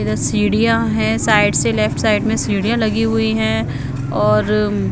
इधर सीढ़ियां है साइड से लेफ्ट साइड में सीढ़ियां लगी हुई है और--